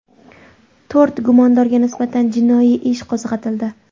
To‘rt gumondorga nisbatan jinoiy ish qo‘zg‘atildi.